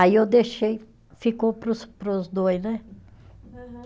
Aí eu deixei, ficou para os, para os dois, né? Aham